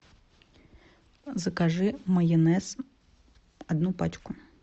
закажи майонез одну пачку